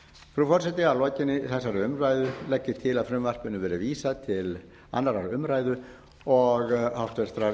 forseti að lokinni þessari umræðu legg ég til að frumvarpinu verði vísað til annarrar umræðu og háttvirtur